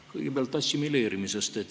Kõigepealt assimileerimisest.